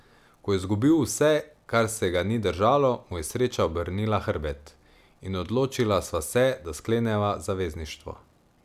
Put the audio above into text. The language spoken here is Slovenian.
Ko je izgubil vse, kar se ga ni držalo, mu je sreča obrnila hrbet, in odločila sva se, da skleneva zavezništvo.